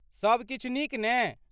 सभ किछु नीक ने?